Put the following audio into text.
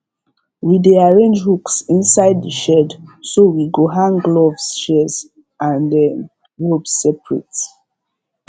we dey arrange hooks inside the shed so we go hang gloves shears and um ropes separate